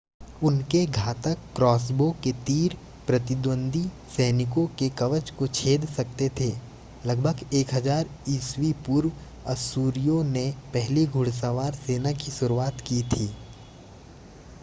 उनके घातक क्रॉसबो के तीर प्रतिद्वंद्वी सैनिकों के कवच को छेद सकते थे. लगभग 1000 ई.पू. अश्शूरियों ने पहली घुड़सवार सेना की शुरुआत की थी